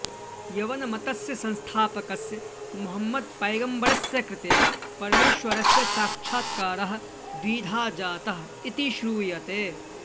यवनमतस्य संस्थापकस्य मोहमद् पैगम्बरस्य कृते परमेश्वरस्य साक्षात्कारः द्विधा जातः इति श्रूयते